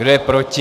Kdo je proti?